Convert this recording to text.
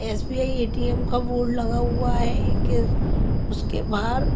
SBI ATM का board लगा हुआ है एक उसके बाहर--